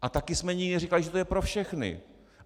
A také jsme nikdy neříkali, že to je pro všechny.